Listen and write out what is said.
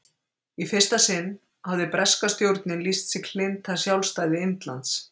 Í fyrsta sinn hafði breska stjórnin lýst sig hlynnta sjálfstæði Indlands.